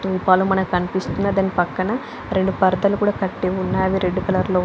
ధూపలు కనిపిస్తున్నాయి పక్కన అక్కడ రెండు పరదాలు కట్టి ఉన్నాయి అవి రెడ్ కలర్ లో ఉన్నాయి.